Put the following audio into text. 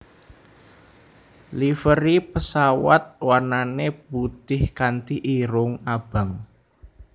Livery pesawat warnane putih kanti irung abang